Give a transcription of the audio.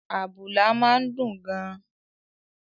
Àbùlà máa ń dùn gan-an